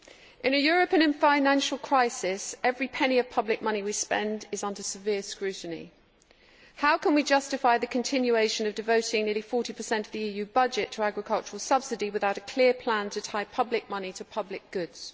In a Europe in financial crisis, every penny of public money we spend is under severe scrutiny. How can we justify the continuation of devoting nearly 40 of the EU budget to agricultural subsidy without a clear plan to tie public money to public goods?